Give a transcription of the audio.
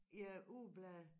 Ja ugeblade